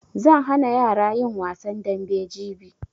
Zan hana yara yin wasan dambe jibi